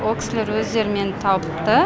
о кісілер өздері мені тапты